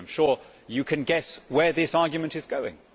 I am sure you can guess where this argument is going.